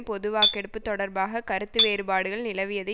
பொதுவாக்கெடுப்பு தொடர்பாக கருத்து வேறுபாடுகள் நிலவியது